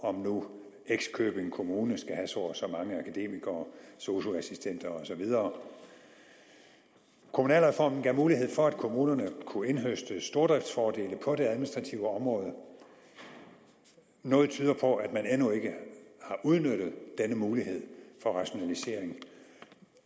om nu x købing kommune skal have så og så mange akademikere sosu assistenter og så videre kommunalreformen gav mulighed for at kommunerne kunne indhøste stordriftsfordele på det administrative område noget tyder på at man endnu ikke har udnyttet denne mulighed for rationalisering